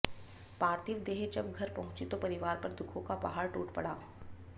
पार्थिव देह जब घर पहुंची तो परिवार पर दुखों का पहाड़ टूट पड़ा